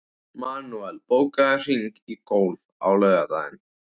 Manuel, bókaðu hring í golf á laugardaginn.